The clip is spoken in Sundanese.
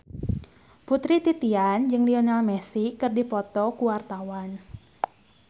Putri Titian jeung Lionel Messi keur dipoto ku wartawan